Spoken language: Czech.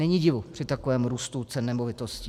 Není divu při takovém růstu cen nemovitostí.